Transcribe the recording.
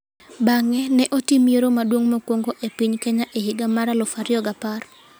Bang'e, ne otim yiero maduong' mokwongo e piny Kenya e higa mar 2010.